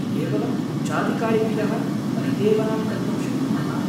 केवलम् उच्चाधिकारिभ्यः परिदेवनां कर्तुं शक्नुमः।